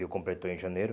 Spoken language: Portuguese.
Eu completou em janeiro.